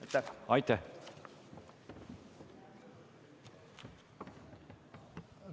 Aitäh!